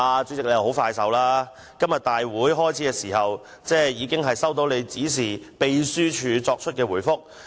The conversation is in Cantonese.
主席相當有效率，今天立法會會議開始時，議員已經收到經主席指示秘書處作出的回覆。